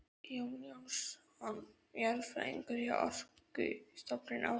Jón Jónsson jarðfræðingur hjá Orkustofnun ásamt